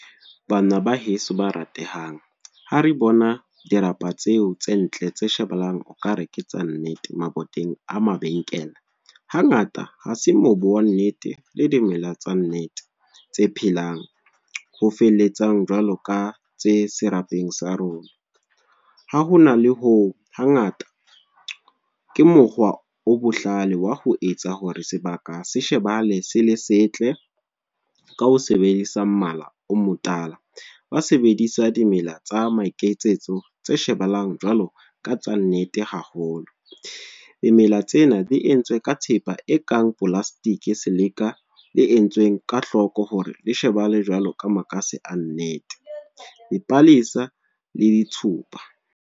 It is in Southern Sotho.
Bana ba heso ba ratehang. Ha re bona dirapa tseo tse ntle tse shebellang, o ka ke tsa nnete, maboteng a mabenkele. Hangata ha se mobu wa nnete, le dimela tsa nnete, tse phelang ho feletsang jwalo ka tse serapeng sa rona. Ha ho na le ho hangata, ke mokgwa o bohlale wa ho etsa hore sebaka se shebale se le setle, ka ho sebedisa mmala o motala. Ba sebedisa dimela tsa maikemitsetso, tse shebahalang jwalo ka tsa nnete haholo. Dimela tsena di entswe ka thepa e kang plastic, se leka le entsweng ka hloko hore le shebahale jwalo ka makase a nnete. Dipalesa le ditshupa.